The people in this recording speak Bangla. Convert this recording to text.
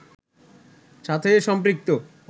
সাথে সম্পৃক্ত